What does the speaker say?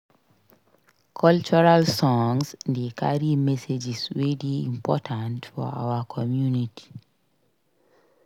Cultural songs dey carry messages wey dey important for our community.